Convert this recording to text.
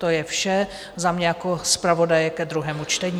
To je vše za mě jako zpravodaje ke druhému čtení.